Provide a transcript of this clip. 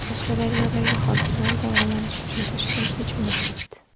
Qashqadaryodagi hokimlar davolanish uchun Toshkentga jo‘nab ketdi.